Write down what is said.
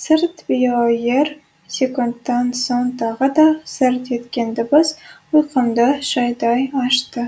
сырт біоер секундтан соң тағы да сырт еткен дыбыс ұйқымды шайдай ашты